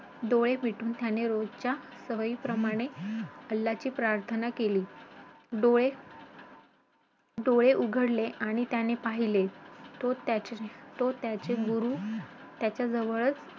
डोळे मिटून त्याने रोजच्या सवयीप्रमाणे अल्हाची प्रार्थना केली. डोळे उघडले आणि त्याने पाहिले तर त्याचे गुरू त्याच्या जवळच